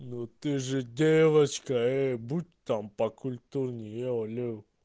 ну ты же девочка э и будь там покультурнее еу еу